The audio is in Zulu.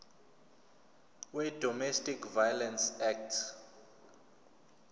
wedomestic violence act